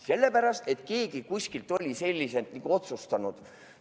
Sellepärast, et keegi kuskil on sellise otsuse teinud.